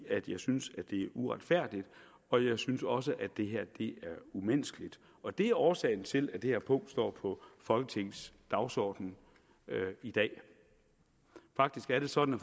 jeg synes det er uretfærdigt og jeg synes også det her er umenneskeligt og det er årsagen til at det her punkt står på folketingets dagsorden i dag faktisk er det sådan